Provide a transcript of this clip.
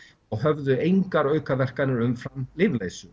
og höfðu engar aukaverkanir umfram